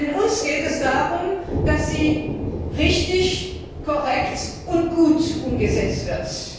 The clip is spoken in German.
Denn uns geht es darum, dass sie richtig, korrekt und gut umgesetzt wird.